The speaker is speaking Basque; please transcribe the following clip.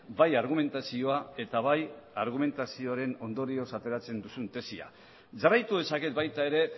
bai argumentazioa eta bai argumentazioaren ondorioz ateratzen duzun tesia jarraitu dezaket baita ere